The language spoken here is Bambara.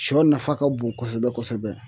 Siyɔ nafa ka bon kosɛbɛ kosɛbɛ.